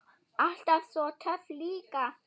Alltaf svo töff líka.